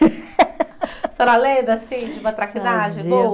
A senhora lembra, assim, de uma traquinagem boa?